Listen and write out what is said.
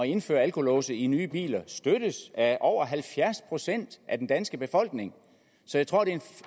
indføre alkolåse i nye biler støttes af over halvfjerds procent af den danske befolkning så jeg tror det er